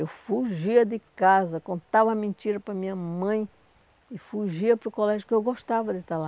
Eu fugia de casa, contava mentiras para a minha mãe e fugia para o colégio, porque eu gostava de estar lá.